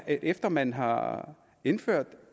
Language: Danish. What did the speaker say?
efter at man har indført